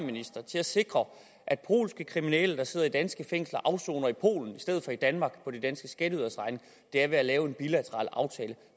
til at sikre at polske kriminelle der sidder i danske fængsler afsoner i polen i stedet for i danmark på de danske skatteyderes regning er ved at lave en bilateral aftale